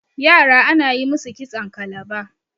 yara ana yi musu kitson kalaba